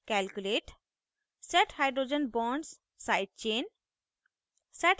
calculate set hydrogen bonds side chain